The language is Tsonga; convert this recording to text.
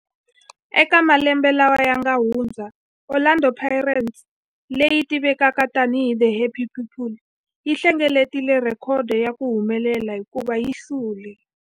Eka malembe lawa yanga hundza, Orlando Pirates, leyi tivekaka tani hi 'The Happy People', yi hlengeletile rhekhodo ya ku humelela hikuva yi hlule